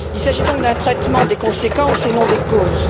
Il s'agit donc d'un traitement des conséquences et non des causes.